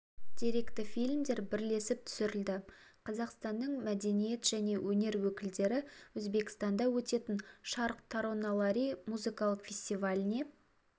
деректі фильмдер бірлесіп түсірілді қазақстанның мәдениет және өнер өкілдері өзбекстанда өтетін шарқ тароналари музыкалық фестиваліне